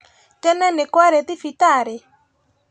Tene nĩkwarĩ thibitarĩ?